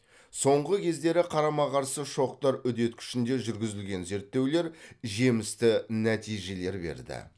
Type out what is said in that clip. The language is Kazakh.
соңғы кездері қарама қарсы шоқтар үдеткішінде жүргізілген зерттеулер жемісті нәтижелер берді